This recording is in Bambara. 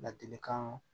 Ladilikan